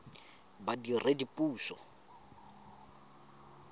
badiredipuso